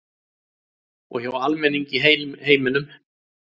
Og hjá almenningi í heiminum